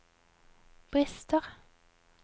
brister